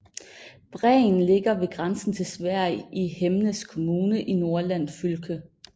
Bræen ligger ved grænsen til Sverige i Hemnes kommune i Nordland fylke